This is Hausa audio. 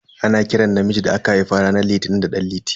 Ana kiran namiji da aka haifa ranar litini da dan liti.